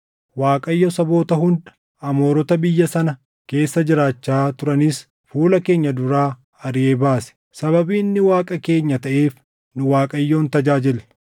Waaqayyo saboota hunda, Amoorota biyya sana keessa jiraachaa turanis fuula keenya duraa ariʼee baase. Sababii inni Waaqa keenya taʼeef nu Waaqayyoon tajaajilla.”